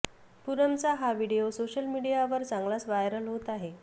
पूनमचा हा video social मिडीयावर चांगलाच व्हायरल होत आहे